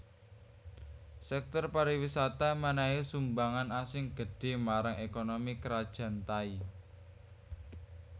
Sèktor pariwisata mènèhi sumbangan sing gedhé marang ékonomi Krajan Thai